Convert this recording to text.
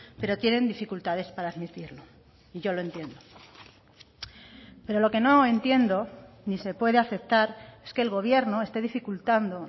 pero tienen dificultades para admitirlo y yo lo entiendo pero lo que no entiendo ni se puede aceptar es que el gobierno esté dificultando